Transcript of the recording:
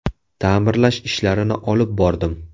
Ta’mirlash ishlarini olib bordim.